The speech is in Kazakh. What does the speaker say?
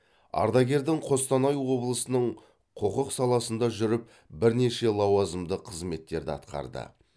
ардагердің қостанай облысының құқық саласында жүріп бірнеше лауазымды қызметтерді атқарды